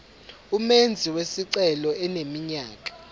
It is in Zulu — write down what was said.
umenzi wesicelo eneminyaka